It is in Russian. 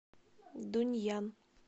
дунъян